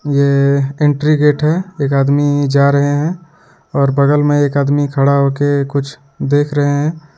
ये entry gate है एक आदमी जा रहे हैं और बगल में एक आदमी खड़ा होके कुछ देख रहे हैं।